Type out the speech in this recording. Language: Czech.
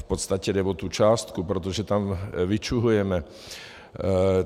V podstatě jde o tu částku, protože tam vyčuhujeme.